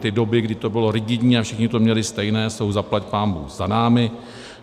Ty doby, kdy to bylo rigidní a všichni to měli stejné, jsou zaplať pánbůh za námi.